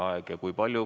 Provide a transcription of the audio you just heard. Kui palju?